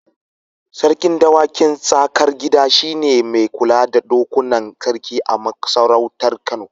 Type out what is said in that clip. Sarkin dawakin Tsakar Gida shi ne mai kula da dokunan sarki a masarautar Kano.